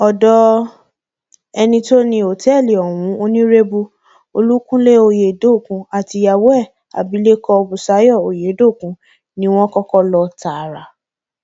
ọdọ ẹni tó ní òtẹẹlì ohun onírèbù olúkunlẹ ọyẹdókun àtìyàwó ẹ abilékọ busayo oyedokun ni wọn kọkọ lọ tààrà